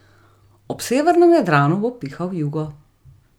Ob severnem Jadranu bo pihal jugo.